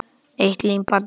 Eitt límband í einu.